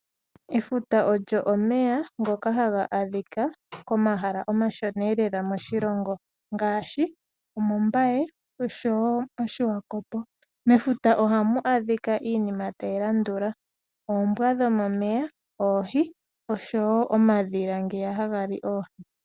Efuta olyo omeya ngoka haga adhikwa komahala omashona lela moshilongo ngaashi omOmbaye noSwakopo. Mefuta ohamu adhikwa iinima tayi landula oombwa dhomomeya, oohi osho woo omadhila ngeya haga li oohi.